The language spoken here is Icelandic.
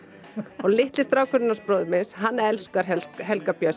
og litli strákurinn hans bróður míns hann elskar Helga Helga Björns